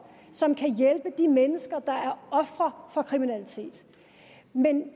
som kan hjælpe de mennesker der er ofre for kriminalitet